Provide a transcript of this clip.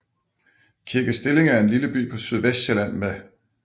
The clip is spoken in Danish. Kirke Stillinge er en lille by på Sydvestsjælland med